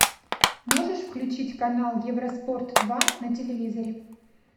можешь включить канал евроспорт два на телевизоре